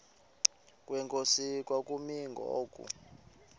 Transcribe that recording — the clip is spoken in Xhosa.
kwenkosi kwakumi ngoku